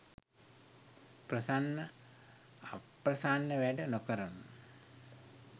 ප්‍රසන්න අප්ප්‍රසන්න වැඩ නොකරනු.